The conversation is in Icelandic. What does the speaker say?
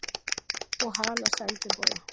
Og hana sendiboða.